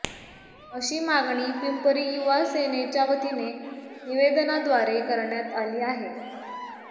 अशी मागणी पिंपरी युवा सेनेच्यावतीने निवेदनाद्वारे करण्यात आली आहे